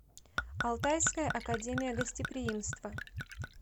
алтайская академия гостеприимства